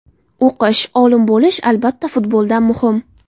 O‘qish, olim bo‘lish albatta futboldan muhim.